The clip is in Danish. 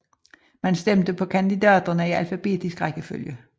Man stemte på kandidaterne i alfabetisk rækkefølge